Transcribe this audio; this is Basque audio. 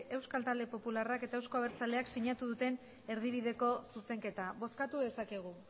euskal talde popularrak eta euzko abertzaleak sinatu duten erdibideko zuzenketa bozkatu dezakegu